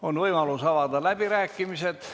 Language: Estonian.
On võimalus avada läbirääkimised.